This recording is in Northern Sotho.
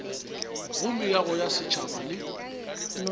go meago ya setšhaba le